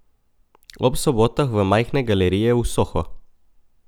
Ob sobotah v majhne galerije v Soho.